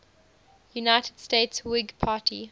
united states whig party